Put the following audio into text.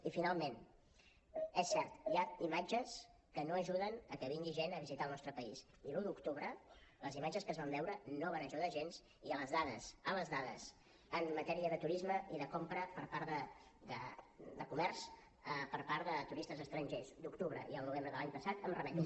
i finalment és cert hi ha imatges que no ajuden a que vingui gent a visitar el nostre país i l’un d’octubre les imatges que es van veure no van ajudar gens i a les dades a les dades en matèria de turisme i de compra per part de comerç per part de turistes estrangers d’octubre i el novembre de l’any passat em remeto